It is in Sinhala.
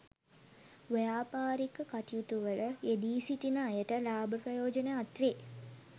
ව්‍යාපාරික කටයුතුවල යෙදී සිටින අයට ලාභ ප්‍රයෝජන අත්වේ.